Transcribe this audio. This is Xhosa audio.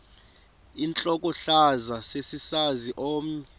intlokohlaza sesisaz omny